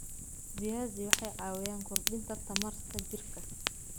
Viazi waxay caawiyaan kordhinta tamarta jirka.